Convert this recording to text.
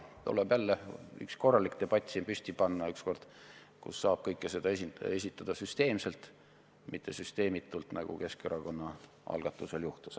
Siin tuleb püsti panna üks korralik debatt, kus saab kõike seda arutada süsteemselt, mitte süsteemitult, nagu Keskerakonna algatusel juhtus.